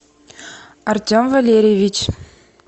артем валерьевич